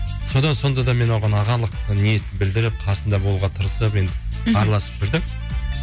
содан сонда да мен оған ағалық ниет білдіріп қасында болуға тырысып енді мхм араласып жүрдік